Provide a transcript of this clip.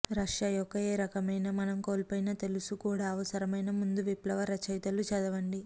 Russia యొక్క ఏ రకమైన మనం కోల్పోయిన తెలుసు కూడా అవసరమైన ముందు విప్లవ రచయితలు చదవండి